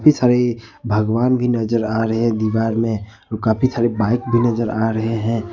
साईं भगवान भी नजर आ रहे हैं दीवार में और काफी सारे बाइक भी नजर आ रहे हैं।